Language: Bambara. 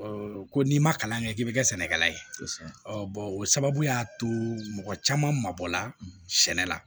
ko n'i ma kalan kɛ k'i bɛ kɛ sɛnɛkɛla ye o sababuya to mɔgɔ caman mabɔ la sɛnɛ la